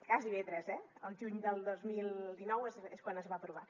gairebé tres eh al juny del dos mil dinou és quan es va aprovar